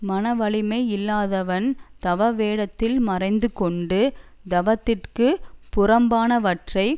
மனவலிமை இல்லாதவன் தவவேடத்தில் மறைந்து கொண்டு தவத்திற்குப் புறம்பானவற்றைச்